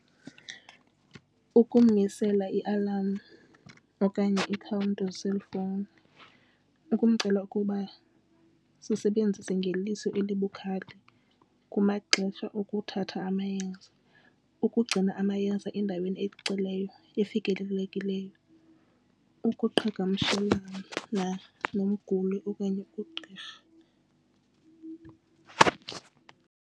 Ukumisela ialam okanye ikhawunti eeselfowuni. Ukumcela ukuba sisebenzise ngeliso elibukhali kumaxesha okuthatha amayeza. Ukugcina amayeza endaweni ecacileyo efikelelekileyo. Ukuqhagamshelana nomguli okanye ugqirha.